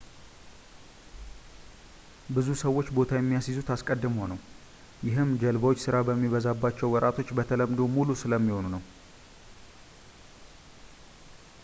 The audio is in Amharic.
ብዙ ሰዎች ቦታ የሚያስይዙት አስቀድመው ነው ይህም ጀልባዎች ስራ በሚበዛባቸው ወራቶች በተለምዶ ሙሉ ስለሚሆኑ ነው